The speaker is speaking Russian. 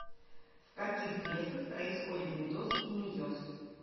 в каких клетках происходит митоз и мейоз